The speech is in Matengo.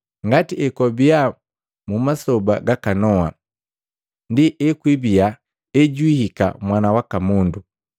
Ngati ekwabii mu masoba gaka Noa, ndi ekwibiya ejwihika Mwana waka Mundu.